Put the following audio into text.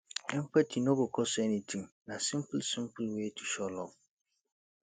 empathy no go cost anything na simple simple way to show love